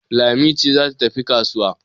Lami ce za ta tafi kasuwa